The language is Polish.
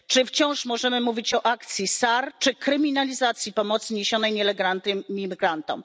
Czy wciąż możemy mówić o akcji SAR, czy o kryminalizacji pomocy niesionej nielegalnym imigrantom?